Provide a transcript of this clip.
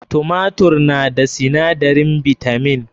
Tumatur na da sinadarin bitamin.